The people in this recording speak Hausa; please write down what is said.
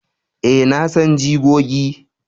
a, na san jigogi